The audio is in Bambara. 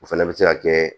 O fana bɛ se ka kɛ